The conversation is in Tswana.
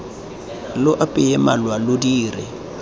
lo apeye malwa lo dire